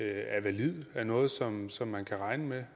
er validt og noget som som man kan regne med